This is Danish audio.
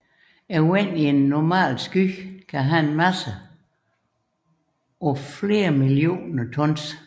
Vandet i en normal sky kan have en masse på flere millioner tons